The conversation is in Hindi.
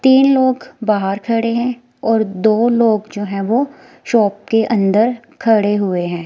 तीन लोग बाहर खड़े हैं और दो लोग जो है वो शॉप के अंदर खड़े हुए हैं।